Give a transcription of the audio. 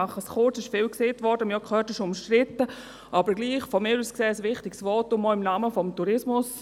Aber trotzdem möchte ich ein aus meiner Sicht wichtiges Votum abgeben, auch im Namen des Tourismus.